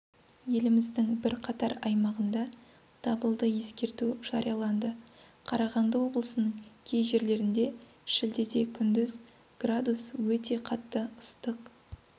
еліміздің бірқатар аймағында дабылды ескерту жарияланды қарағанды облысының кей жерлерінде шілдеде күндіз градус өте қатты ыстық